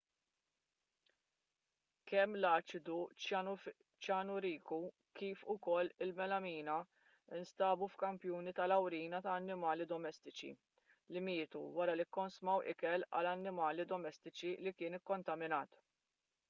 kemm l-aċidu ċjanuriku kif ukoll il-melamina nstabu f'kampjuni tal-awrina ta' annimali domestiċi li mietu wara li kkonsmaw ikel għall-annimali domestiċi li kien ikkontaminat